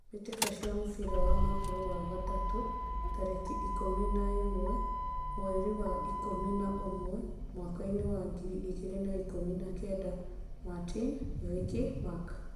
Mbitika cia mũbira wa magũrũ, wa gatatu, tarĩki ikũmi na ĩmwe mwerinĩ wa ikũmi na ũmwe mwakainĩ wa ngiri igĩrĩ na ikũmi na kenda: Martin, Vicky, Mark